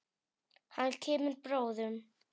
Hann kemur bráðum.